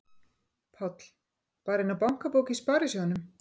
Páll: Bara inná bankabók í sparisjóðnum?